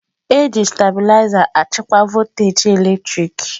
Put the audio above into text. na-eji stabiliza achịkwa voltaji eletrik.